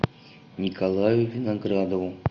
николаю виноградову